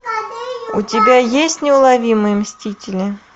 у тебя есть неуловимые мстители